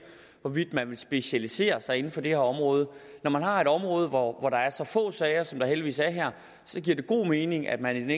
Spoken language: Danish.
hvorvidt man vil specialisere sig inden for det her område når man har et område hvor der er så få sager som der heldigvis er her så giver det god mening at man